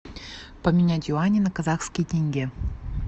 поменять юани на казахский тенге